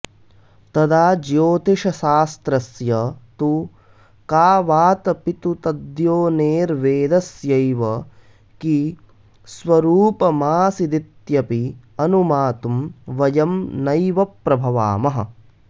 तदा ज्योतिषशास्त्रस्य तु का वातऽपितु तद्योनेर्वेदस्यैव कि स्वरूपमासीदित्यपि अनुमातुं वयं नैव प्रभवामः